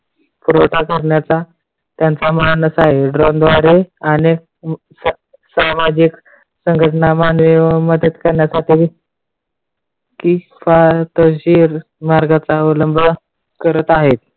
पुरवठा करण्याचा त्यांचा मानस आहे. drone द्वारे आणि सामाजिक संघटना मानवी व मदत करण्यासाठी विकसनशील मार्गाचा अवलंब करत आहेत.